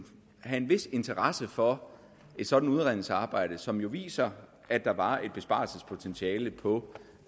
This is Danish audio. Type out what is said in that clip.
have en vis interesse for et sådant udredningsarbejde som jo viser at der var et besparelsespotentiale på